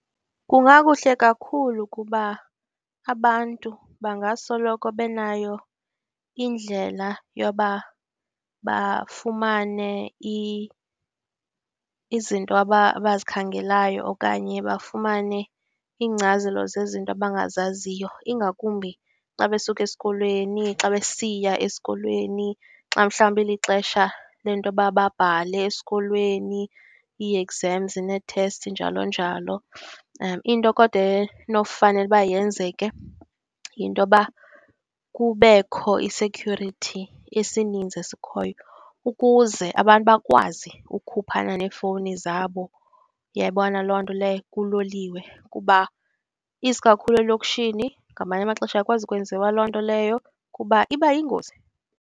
Kungakuhle kakhulu kuba abantu bangasoloko benayo indlela yoba bafumane izinto aba abazikhangelayo okanye bafumane iingcazelo zezinto abangazaziyo. Ingakumbi xa besuka esikolweni, xa besiya esikolweni, xa mhlawumbi ilixesha le nto yoba babhale esikolweni, ii-exams nee-tests, njalo njalo. Into kodwa enofanele uba yenzeke yinto yoba kubekho i-security, esininzi esikhoyo, ukuze abantu bakwazi ukukhuphana neefowuni zabo. Uyayibona loo nto leyo? Kuloliwe, kuba isikakhulu elokshini, ngamanye amaxesha ayikwazi ukwenziwa loo nto leyo kuba iba yingozi.